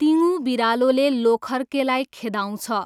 तिङु बिरालोले लोखर्केलाई खेदाउँछ।